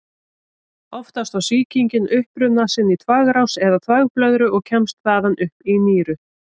Oftast á sýkingin uppruna sinn í þvagrás eða þvagblöðru og kemst þaðan upp í nýrun.